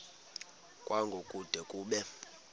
kwango kude kube